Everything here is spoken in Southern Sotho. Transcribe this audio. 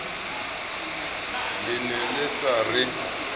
le ne le sa re